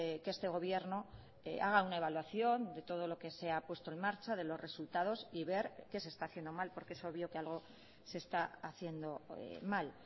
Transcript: que este gobierno haga una evaluación de todo lo que se ha puesto en marcha de los resultados y ver qué se está haciendo mal porque es obvio que algo se está haciendo mal